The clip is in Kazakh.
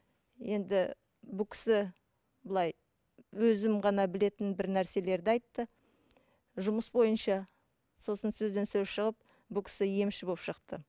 енді бұл кісі былай өзім ғана білетін бір нәрселерді айтты жұмыс бойынша сосын сөзден сөз шығып бұл кісі емші болып шықты